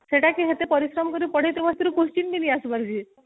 ସେଇଟା କି ଏତେ ପରିଶ୍ରମ କରି ପଢେଇ ତେ question ବି ଠିକ ସେ ନାଇ ଆସିବାର ଜି